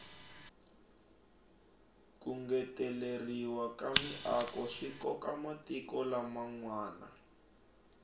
ku ngeteleriwa ka miako swikoka matiko lam nwana